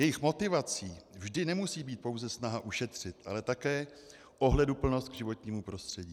Jejich motivací vždy nemusí být pouze snaha ušetřit, ale také ohleduplnost k životnímu prostředí.